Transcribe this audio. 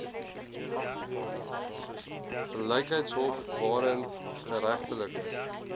gelykheidshof waarin geregtelike